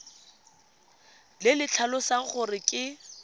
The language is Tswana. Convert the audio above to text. le le tlhalosang gore ke